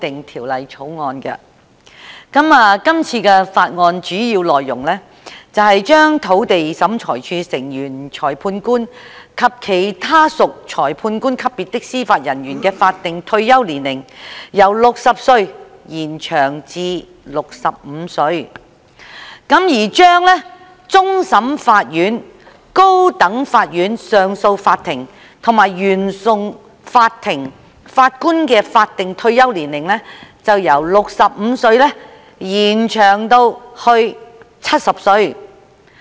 《條例草案》的主要內容是把土地審裁處成員、裁判官及其他屬裁判官級別的司法人員的法定退休年齡，由60歲延展至65歲，以及把終審法院、高等法院上訴法庭及原訟法庭法官的法定退休年齡，由65歲延展至70歲。